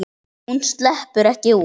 Hún sleppur ekki út.